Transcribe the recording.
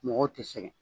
Mɔgɔw tɛ sɛgɛn